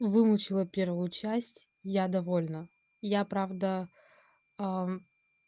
выучила первую часть я довольна я правда аа